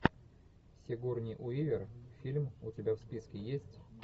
сигурни уивер фильм у тебя в списке есть